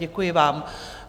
Děkuji vám.